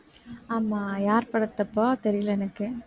ஆமா யார் படத்தப்பா தெரியலே எனக்கு